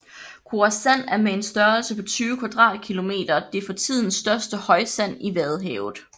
Koresand er med en størrelse på 20 kvadratkilometer det for tiden største højsand i vadehavet